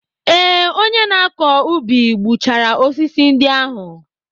Ee, onye na-akọ ubi gbuchara osisi ndị ahụ.